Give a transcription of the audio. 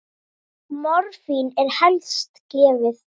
Morfín er helst gefið